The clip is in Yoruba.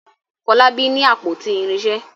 Folabi ní àpótí irinṣẹ.